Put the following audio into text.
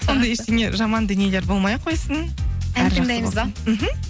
сондай ештеңе жаман дүниелер болмай ақ қойсын мхм